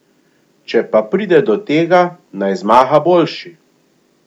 Če pa pride do tega, naj zmaga boljši.